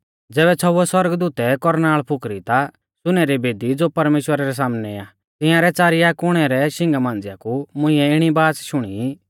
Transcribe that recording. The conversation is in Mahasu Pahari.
ज़ैबै छ़ौउवै सौरगदूतै कौरनाल़ फुकरी ता सुनै री बेदी ज़ो परमेश्‍वरा रै सामनै आ तिंयारै च़ारिया कुणै रै शिंगा मांझ़िया कु मुंइऐ इणी बाच़ शुणी